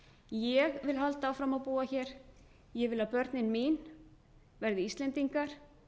ég vil halda áfram að búa hér ég vil að börnin mín verði íslendingar